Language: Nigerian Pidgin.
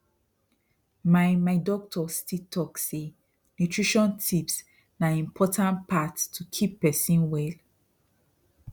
my my doctor still talk say nutrition tips na important part to keep person well